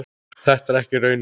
Þetta er ekki raunin.